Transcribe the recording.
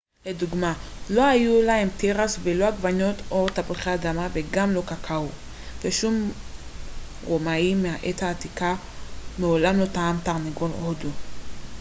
לדוגמה לא היו להם תירס ולא עגבניות או תפוחי אדמה וגם לא קקאו ושום רומאי מהעת העתיקה מעולם לא טעם תרנגול הודו